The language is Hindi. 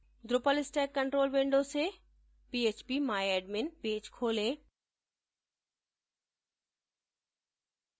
drupal stack control window से phpmyadmin पेज खोलें